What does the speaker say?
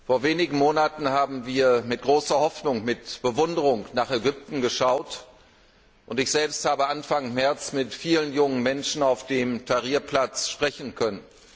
Vor wenigen Monaten haben wir mit großer Hoffnung, mit Bewunderung nach Ägypten geschaut, und ich selbst habe Anfang März mit vielen jungen Menschen auf dem Tahrir Platz sprechen können.